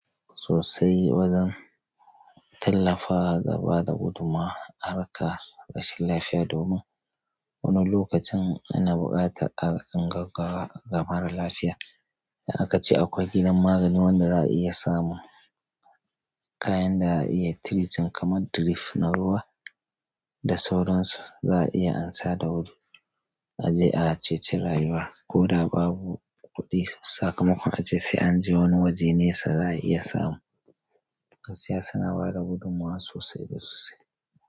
Sosai, wa zan tallafawa da bada gudummawa, harkar rashin lafiya domin wani lokacin ana buƙatar agajin gaggawa ga mara lafiya. Da akace akwai gidan magani wanda za a iya samun kayan da za a iya treating kamar drip na ruwa da sauran su za a iya an sa da wuri, a je a ceci rayuwa. Koda babu kuɗi sakamakon ace sai an je wani waje nesa za a iya samu. Gaskiya suna bada gudummawa sosai da sosai.